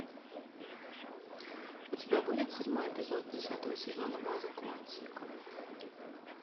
у тебя будет седьмой эпизод десятого сезона база куантико